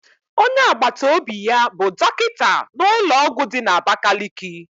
Onye agbataobi ya bụ dọkịta n'ụlọọgwụ dị n'abakaliki.